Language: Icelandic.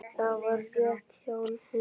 Það var rétt hjá henni.